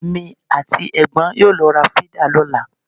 Èmi àti ẹ̀gbọ́n yóò lọ ra fídà lọ́la.